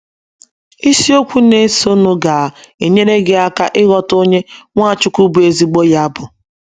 Isiokwu na - esonụ ga - enyere gị aka ịghọta onye Nwachukwu bụ́ ezigbo ya bụ.